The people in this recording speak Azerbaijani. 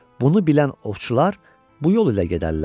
Bunu bilən ovçular bu yol ilə gedərlər.